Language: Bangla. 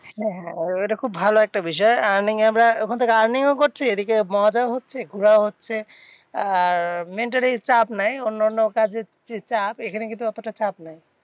হ্যাঁ হ্যাঁ ঐটা খুব ভালো একটা বিষয়। earning এর এবার ওখান থেকে earning ও করছি, এদিকে মজাও হচ্ছে, ঘোড়াও হচ্ছে। আর mentally চাপ নেই। অন্যান্য কাজের যে চাপ এখানে কিন্তু অতটা চাপ নেই।